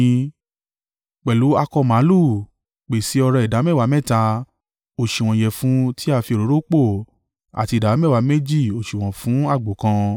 Pẹ̀lú akọ màlúù, pèsè ọrẹ ìdámẹ́wàá mẹ́ta, òsùwọ̀n ìyẹ̀fun tí a fi òróró pò àti ìdámẹ́wàá méjì òsùwọ̀n fún àgbò kan,